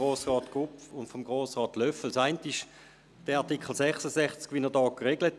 Das eine betrifft den Artikel 66, so wie er vorliegt.